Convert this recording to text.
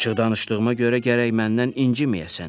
Açıq danışdığıma görə gərək məndən inciməyəsən.